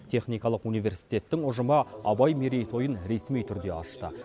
техникалық университеттің ұжымы абай мерей тойын ресми түрде ашты